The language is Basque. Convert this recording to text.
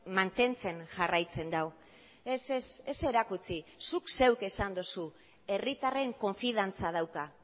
mantentzen jarraitzen du ez ez erakutsi zuk zeuk esan duzu herritarren konfiantza dauka